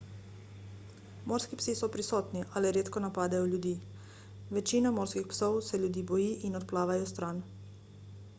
morski psi so prisotni a le redko napadejo ljudi večina morskih psov se ljudi boji in odplavajo stran